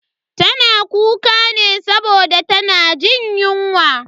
Tana kuka ne saboda tana jin yunwa.